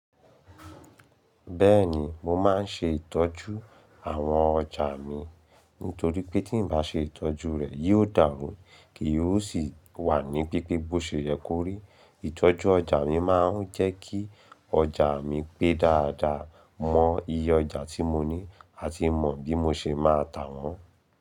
Bẹ́ẹ̀ni, mo máa ń ṣe ìtọ́jú àwọn ọjà mi nítorí pé tí n bá ṣe ìtọ́jú rẹ̀ yóò dàrú, kì yóò sì wà ní pípé bó ṣe yẹ kó rí. Ìtọ́jú ọjà mi máa ń jẹ́ kí ọjà mi pé dáadáa, mọ iye ọjà tí mo ní àti mọ bí mo ṣe máa tà wọ́n.